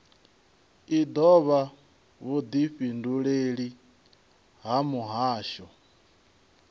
i dovha vhudifhinduleleli ha muhasho